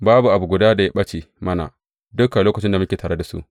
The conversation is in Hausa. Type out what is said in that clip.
Babu abu guda da ya ɓace mana dukan lokacin da muke tare da su.